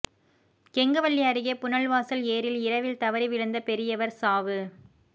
கெங்கவல்லி அருகே புனல்வாசல் ஏரியில் இரவில் தவறி விழுந்த பெரியவா் சாவு